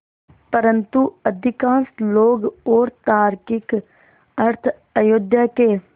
परन्तु अधिकांश लोग और तार्किक अर्थ अयोध्या के